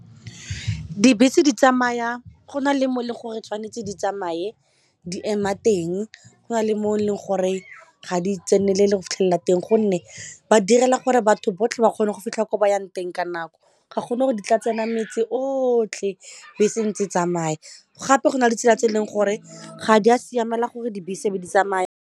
Dibese di tsamaya go na le mo e leng gore tshwanetse di tsamaye di ema teng go na le mo e leng gore ga di tsenelele go fitlhelela teng gonne ba direla gore batho botlhe ba kgone go fitlha ko ba yang teng ka nako ga gona di tla tsena metsi otlhe bese ntse e tsamaya gape go na le ditsela tse e leng gore ga di a siamela gore dibese di tsamaya.